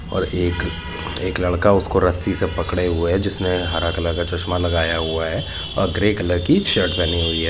और एक एक लड़का उसको रस्सी से पकडे हुई है जिसने हरा कलर का चश्मः लगाया हुआ है और ग्रे कलर की शर्ट पहनी हुई हैं।